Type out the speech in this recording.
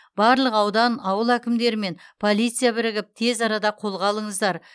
барлық аудан ауыл әкімдері мен полиция бірігіп тез арада қолға алыңыздар